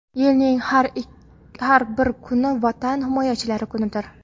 Yilning har bir kuni Vatan himoyachilari kunidir.